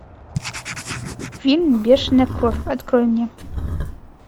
фильм бешеная кровь открой мне